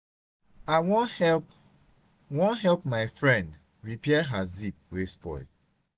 i wan help wan help my friend repair her zip wey spoil.